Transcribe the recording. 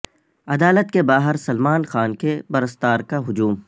عدالت کے باہر سلمان خان کے پرستار کا ہجوم